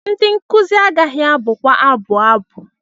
Ndị nkuzi agaghị abụkwa abụ abụ.